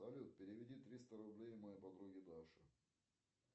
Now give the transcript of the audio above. салют переведи триста рублей моей подруге даше